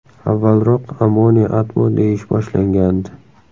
Avvalroq Amoni Atmo deyish boshlangandi.